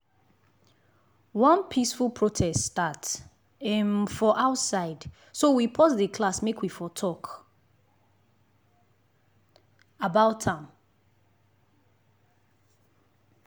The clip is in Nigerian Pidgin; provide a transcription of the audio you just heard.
one peaceful protest start um for outside so we pause class make we for talk about am.